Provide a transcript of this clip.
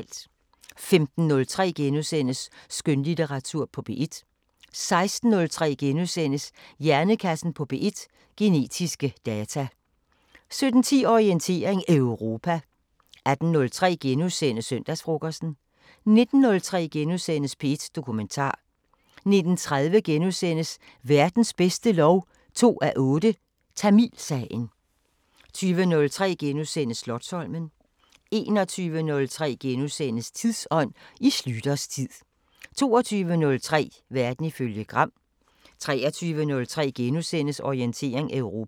15:03: Skønlitteratur på P1 * 16:03: Hjernekassen på P1: Genetiske data * 17:10: Orientering Europa 18:03: Søndagsfrokosten * 19:03: P1 Dokumentar * 19:30: Verdens bedste lov 2:8: Tamilsagen * 20:03: Slotsholmen * 21:03: Tidsånd: I Schlüters tid * 22:03: Verden ifølge Gram 23:03: Orientering Europa *